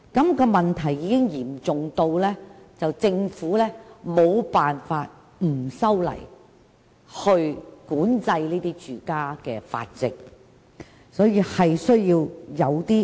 繁殖問題已經嚴重至政府無法不修例管制住家繁殖，而這確實是有需要的。